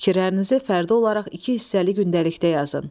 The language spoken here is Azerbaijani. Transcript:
Fikirlərinizi fərdi olaraq iki hissəli gündəlikdə yazın.